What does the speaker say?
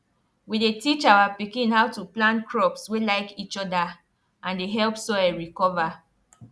we dey teach our pikin how to plant crops wey like each other and dey help soil recover